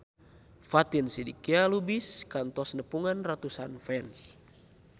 Fatin Shidqia Lubis kantos nepungan ratusan fans